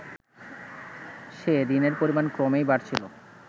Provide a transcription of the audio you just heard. সে ঋণের পরিমাণ ক্রমেই বাড়ছিল